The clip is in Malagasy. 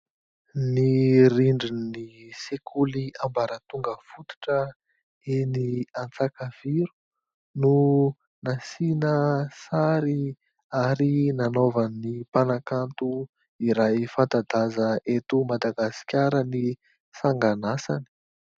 Ny rindrin'ny sekoly ambaratonga fototra eny Antsakaviro no nasiana sary ary nanaovan'ny mpanakanto iray fanta-daza eto Madagasikara ny sanganasany.